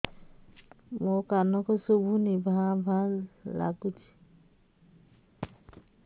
ମୋ କାନକୁ ଶୁଭୁନି ଭା ଭା ଲାଗୁଚି